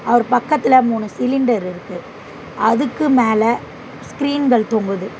அவர் பக்கத்துல மூணு சிலிண்டர் இருக்கு அதுக்கு மேல ஸ்கிரீன்கள் தொங்குது.